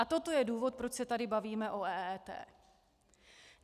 A toto je důvod, proč se tady bavíme o EET.